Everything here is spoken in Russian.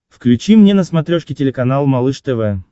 включи мне на смотрешке телеканал малыш тв